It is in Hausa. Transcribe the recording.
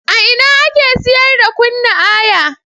A ina ake siyar da Kunna Aya?